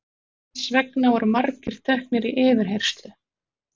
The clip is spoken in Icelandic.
Þess vegna voru margir teknir í yfirheyrslu.